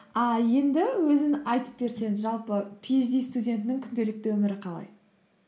а енді өзің айтып берсең жалпы пиэйчди студентінің күнделікті өмірі қалай